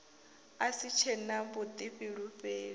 a si tshe na vhuḓifulufheli